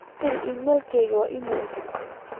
firi iimaylkayga iimaylo cusub